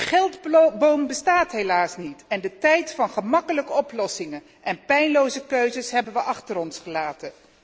Een geldboom bestaat helaas niet en de tijd van gemakkelijke oplossingen en pijnloze keuzes hebben we achter ons gelaten.